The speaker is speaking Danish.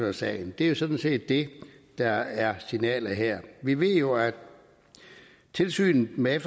af sagen det er jo sådan set det der er signalet her vi ved jo at tilsynet med